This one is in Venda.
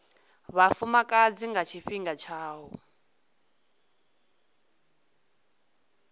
vhafumakadzi nga tshifhinga tsha u